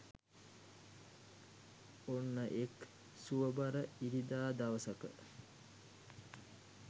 ඔන්න එක් සුව බර ඉරිදා දවසක